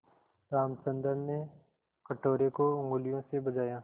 रामचंद्र ने कटोरे को उँगलियों से बजाया